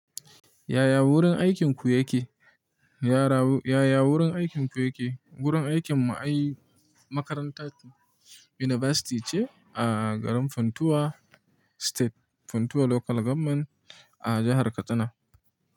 Yaya wurin aikinku yake? Yaya wurin aikinku yake? Wurin aikinmu ai makarantar University ce a garin Funtua state Funtua Local Government a jahar Katsina.